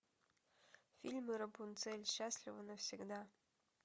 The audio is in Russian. фильм рапунцель счастлива навсегда